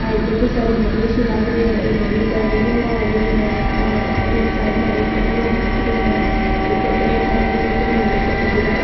आ एक बड़ी सारी हवेली सी लग रही है ये हवेली पर रैलिंगा लागेड़ी है और अठीन साइड में एक कैमरों भी दिख रेहो है ऊपर प्लेटफार्म भी दिखे रेहो है निचे खजुरा का --